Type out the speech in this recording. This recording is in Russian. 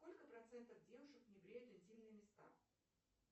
сколько процентов девушек не бреют интимные места